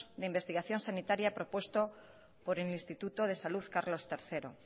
de investigación sanitaria propuesto por el instituto de salud carlos tercero